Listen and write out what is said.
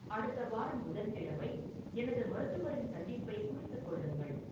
அடுத்த வாரம் புதன்கிழமை எனது மருத்துவரின் சந்திப்பை குறித்துக் கொள்ளுங்கள்